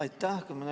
Aitäh!